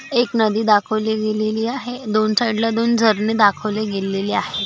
एक नदी दाखवली गेलेली आहे दोन साइडला दोन झरणे दाखवली गेलेली आहे.